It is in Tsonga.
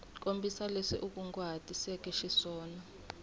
kombisa leswi u kunguhatiseke xiswona